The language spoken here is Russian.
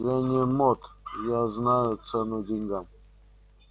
я не мот я знаю цену деньгам